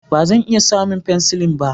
Ba zan iya samun penicillin ba